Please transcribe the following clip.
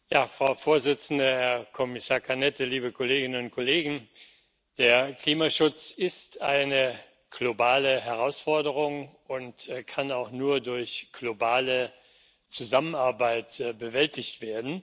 Frau Präsidentin, Herr Kommissar Arias Cañete, liebe Kolleginnen und Kollegen! Der Klimaschutz ist eine globale Herausforderung, und er kann auch nur durch globale Zusammenarbeit bewältigt werden.